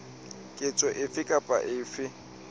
ketso efe kapa efe e